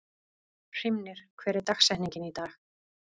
Hrímnir, hver er dagsetningin í dag?